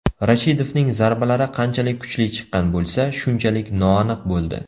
Rashidovning zarbalari qanchalik kuchli chiqqan bo‘lsa, shunchalik noaniq bo‘ldi.